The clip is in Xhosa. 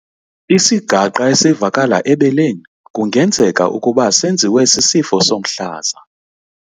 Isigaqa esivakala ebeleni kungenzeka ukuba senziwe sisifo somhlaza.